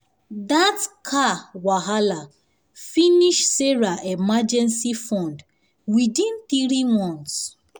that car repair car repair wahala finish sarah emergency fund within three months.